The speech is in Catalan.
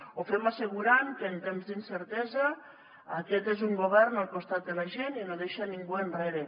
ho fem assegurant que en temps d’incertesa aquest és un govern al costat de la gent i no deixa ningú enrere